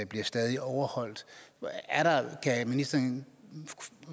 bliver stadig overholdt kan ministeren